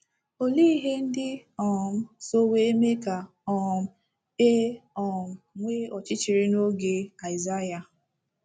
Olee ihe ndị um so wee mee ka um e um nwee ọchịchịrị n’oge Aịsaịa??